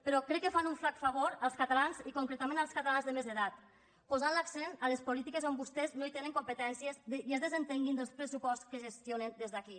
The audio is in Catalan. però crec que fan un flac favor als catalans i concretament als catalans de més edat posant l’accent a les polítiques on vostès no tenen competències i desentenent se del pressupost que gestionen des d’aquí